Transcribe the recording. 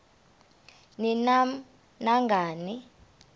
ni nam nangani